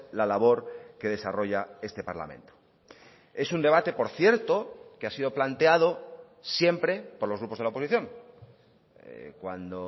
la labor que desarrolla este parlamento es un debate por cierto que ha sido planteado siempre por los grupos de la oposición cuando